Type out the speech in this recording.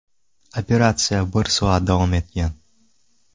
Operatsiya bir soat davom etgan.